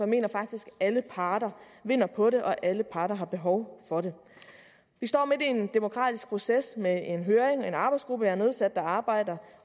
mener faktisk at alle parter vinder på det og at alle parter har behov for det vi står midt i en demokratisk proces med en høring og en arbejdsgruppe jeg har nedsat der arbejder